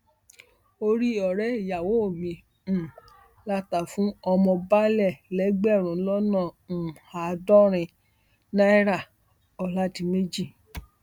orí ọrẹ ìyàwó mi um la ta fún ọmọ baálé lẹgbẹrún lọnà um àádọrin náíràọládèméjì